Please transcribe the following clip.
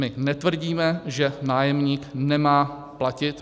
My netvrdíme, že nájemník nemá platit.